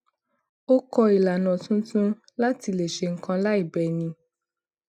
ó kó ìlànà tuntun láti le ṣe nkan láì bẹni